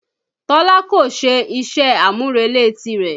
Tọ́lá kò ṣe iṣẹ́-àmúrelé ti rẹ̀